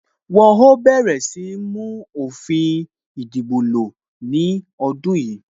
Wọn ó bẹ̀rẹ̀ sí ní mú òfin ìdìbò lo ní ọdún yìí